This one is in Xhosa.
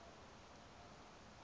emgcwe